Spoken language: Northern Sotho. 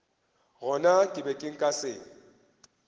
gona ke be nka se